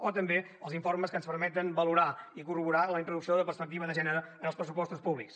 o també els informes que ens permeten valorar i corroborar la introducció de la perspectiva de gènere en els pressupostos públics